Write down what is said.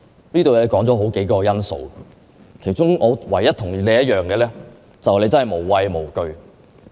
她提出了數項因素，我唯一同意的是，她真的無畏無懼。